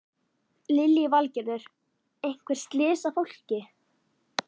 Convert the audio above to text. Lillý Valgerður: Einhver slys á fólki?